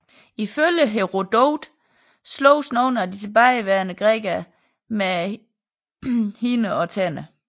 Ifølge Herodot sloges nogle af de tilbageværende grækere med hænderne og tænderne